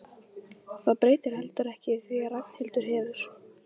Það breytir heldur ekki því að Ragnhildur hefur